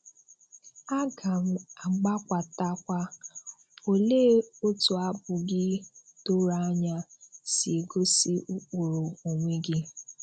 À gà m àgbàkwàtakwa “Òlee otú àbụ gị dọ̀rọ̀ ànyà sì égosí ụ̀kpụrụ onwe gị?”